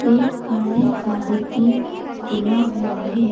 एक गाड़ी का डिक्की खुला हुआ है।